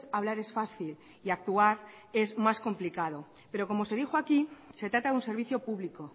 hablar es fácil y actuar es más complicado pero como se dijo aquí se trata de un servicio público